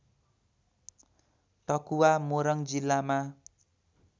टकुवा मोरङ जिल्लामा